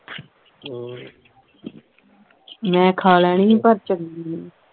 ਮੈਂ ਖਾ ਲੈਣੀ ਹੀ ਪਰ ਚੰਗੀ ਨਹੀਂ